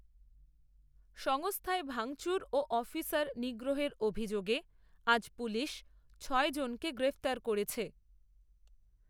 সংস্থায় ভাঙচুর ও অফিসার নিগ্রহের অভিযোগে, আজ পুলিশ, ছয়জনকে গ্রেফতার করেছে